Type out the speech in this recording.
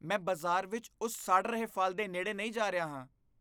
ਮੈਂ ਬਾਜ਼ਾਰ ਵਿੱਚ ਉਸ ਸੜ ਰਹੇ ਫ਼ਲ ਦੇ ਨੇੜੇ ਨਹੀਂ ਜਾ ਰਿਹਾ ਹਾਂ।